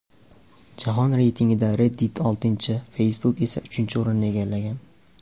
Jahon reytingida Reddit oltinchi, Facebook esa uchinchi o‘rinni egallagan.